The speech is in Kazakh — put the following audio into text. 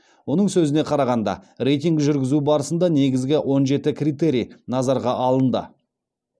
оның сөзіне қарағанда рейтинг жүргізу барысында негізгі он жеті критерий назарға алынды